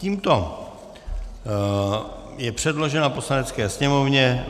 Tímto je předložen Poslanecké sněmovně